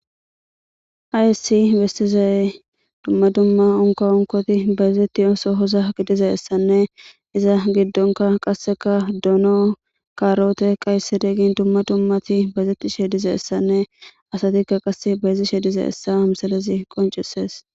hayssi bestizaye dumma dumma onka onkoti bayezetti ooso hoza gidizayessanne iza giddonka qasseka dono kaaroote qaysedegin dumma dummati baezetti shedizaessanne asatikka qasse bayezi shediza essa msalezi qoncisees